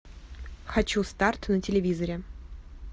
хочу старт на телевизоре